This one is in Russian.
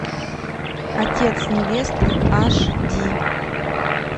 отец невесты аш ди